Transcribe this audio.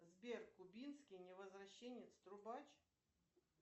сбер кубинский невозвращенец трубач